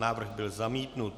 Návrh byl zamítnut.